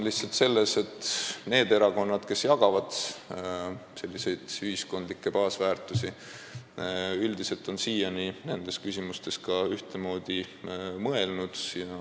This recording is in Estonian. Lihtsalt siiani on need erakonnad, kes jagavad ühiskondlikke baasväärtusi, üldiselt nendes küsimustes ka ühtemoodi mõelnud.